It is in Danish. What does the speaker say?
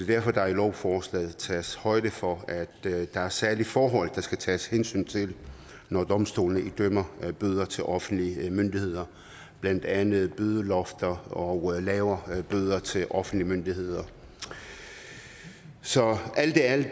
derfor der i lovforslaget tages højde for at der er særlige forhold der skal tages hensyn til når domstolene idømmer bøder til offentlige myndigheder blandt andet bødelofter og lavere bøder til offentlige myndigheder så alt i alt